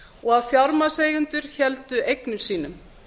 og að fjármagnseigendur héldu eignum sínum